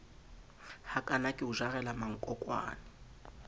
hakana ke o jarela mankokwana